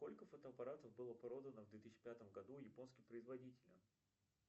сколько фотоаппаратов было продано в две тысяси пятом году японским производителем